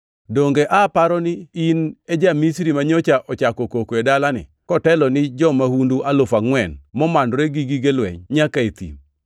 Donge aparo ni in e ja-Misri manyocha ochako koko e dalani kotelo ni jo-mahundu alufu angʼwen momanore gi gige lweny, nyaka e thim?”